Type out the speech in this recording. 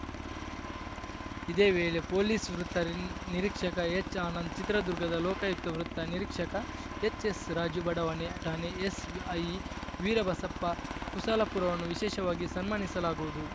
ಇದೇ ವೇಳೆ ಪೊಲೀಸ್‌ ವೃತ್ತ ನಿರೀಕ್ಷಕ ಎಚ್‌ಆನಂದ್‌ ಚಿತ್ರದುರ್ಗದ ಲೋಕಾಯುಕ್ತ ವೃತ್ತ ನಿರೀಕ್ಷಕ ಎಚ್‌ಎಸ್‌ರಾಜು ಬಡಾವಣೆಯ ಠಾಣೆ ಎಸ್‌ಐ ವೀರಬಸಪ್ಪ ಕುಸುಲಾಪುರವನ್ನು ವಿಶೇಷವಾಗಿ ಸನ್ಮಾನಿಸಲಾಗುವುದು